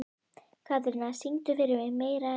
Katrína, syngdu fyrir mig „Meira En Nóg“.